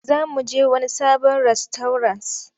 Za mu je wani sabon rastauras.